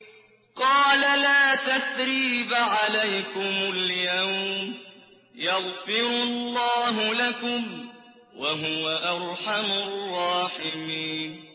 قَالَ لَا تَثْرِيبَ عَلَيْكُمُ الْيَوْمَ ۖ يَغْفِرُ اللَّهُ لَكُمْ ۖ وَهُوَ أَرْحَمُ الرَّاحِمِينَ